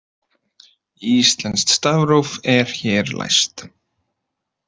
Íslenskt stafróf er hér læst